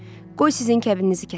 Qoy sizin kəbininizi kəssin."